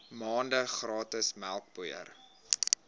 maande gratis melkpoeier